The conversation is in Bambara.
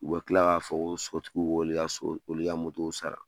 U bɛ tila k'a fɔ ko sokotigiw k'olu ka sogo moto sara sa8ra oya mu sara.